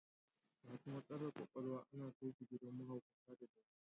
Masu matsalar ƙwaƙwalwa ana kai su gidan mahaukata na Dawanau.